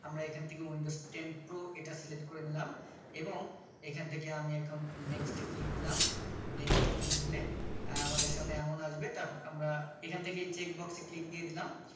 আমরা এখান থেকে windows ten pro এটা Select করে নিলাম এবং এখান থেকে আমি এখন next এ click দিলাম next এ click দিলে আহ আমাদের সামনে এমন আসবে তারপর আমরা এখান থেকে Checkbox এ click দিয়ে দিলাম